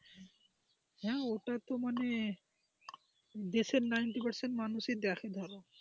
হ্যাঁ ওটা তো মানে দেশের ninety percent মানুষই দেখে ধরো.